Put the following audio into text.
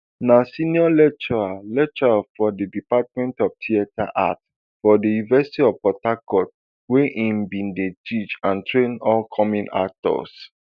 na senior lecturer lecturer for di department of theatre arts for di university of port harcourt wia im bin dey teach and train upcoming actors